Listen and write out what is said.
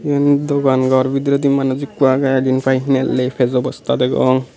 iben dogan ghor bidiride manuj ekko aage jin pai hinelli peyejo bosta degong.